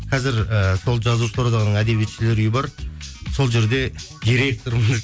қазір і сол жазушылар одағының әдебиетшілер үйі бар сол жерде директормын